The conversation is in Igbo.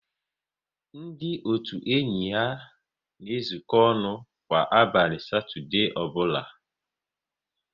Ndị otu enyi ha na ezuko ọnụ kwa abalị Satọdee ọbụla